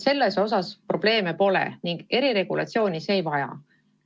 Selles osas eriti probleeme pole ning eriregulatsiooni see ei vaja.